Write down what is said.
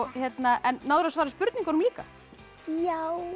en náðirðu að svara spurningunum líka já